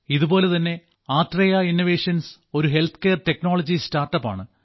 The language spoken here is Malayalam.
ഇതുപോലെ തന്നെ ആത്രേയ ഇന്നവേഷൻസ് ഒരു ഹെൽത്ത്കെയർ ടെക്നോളജി സ്റ്റാർട്ടപ് ആണ്